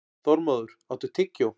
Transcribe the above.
Þormóður, áttu tyggjó?